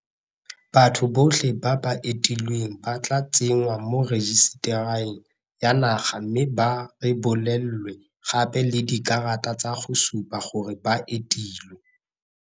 Batho botlhe ba ba entilweng ba tla tsenngwa mo rejisetareng ya naga mme ba rebolelwe gape le dikarata tsa go supa gore ba entilwe.